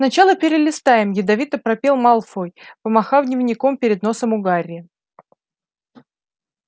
сначала перелистаем ядовито пропел малфой помахав дневником перед носом у гарри